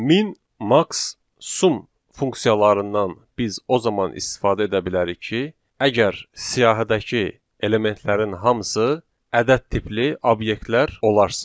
Min, max, sum funksiyalarından biz o zaman istifadə edə bilərik ki, əgər siyahıdakı elementlərin hamısı ədəd tipli obyektlər olarsa.